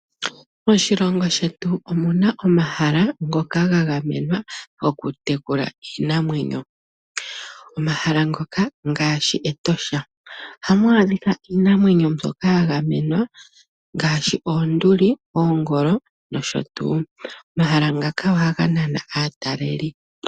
Moshilongo shetu omu na omahala ngokaga gamenwa gwokutekula iimamwenyo, omahala ngoka ngaashi Etosha, ohamu adhika iinamwenyo mbyoka ya gamenwa ngaashi oonduli, oongolo nosho tuu, omahala ngaka ohaga nana aataleli.